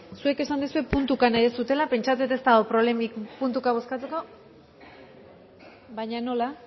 zuek esan duzue puntuka nahi duzuela pentsatzen dut ez dagoela problemarik puntuka bozkatzeko baina nola